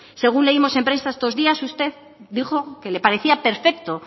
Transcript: según leímos en prensa estos días usted dijo que le parecía perfecto